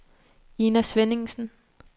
Ina Svenningsen